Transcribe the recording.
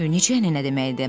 Necə ənənə deməkdir?